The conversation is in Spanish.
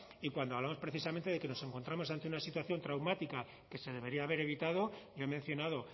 y cuando hablamos precisamente de que nos encontramos ante una situación traumática que se debería haber evitado yo he mencionado